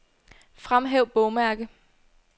Fremhæv bogmærke.